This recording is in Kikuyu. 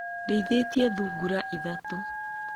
Ndĩithĩtie thungura ithatũ.